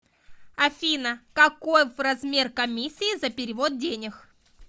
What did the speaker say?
афина каков размер комиссии за перевод денег